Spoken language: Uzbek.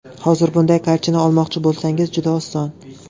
Hozir bunday kartina olmoqchi bo‘lsangiz, juda oson.